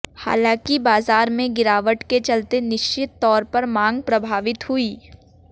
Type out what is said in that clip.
हालांकि बाजार में गिरावट के चलते निश्चित तौर पर मांग प्रभावित हुई